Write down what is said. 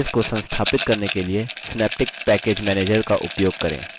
package को संस्थापित करने के लिए synaptic package manager का उपयोग करें